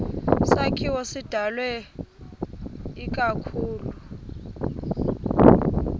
sakhiwo sidalwe ikakhulu